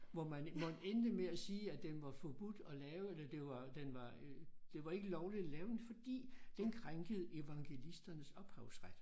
Hvor man hvor den endte med at sige at den var forbudt at lave eller det var den var øh det var ikke lovligt at lave den fordi den krænkede evangelisternes ophavsret